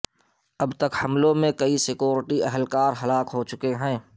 اب تک حملوں میں کئی سکیورٹی اہلکار ہلاک ہو چکے ہیں